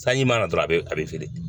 Sanji maa na dɔrɔn a bɛ a bɛ feere.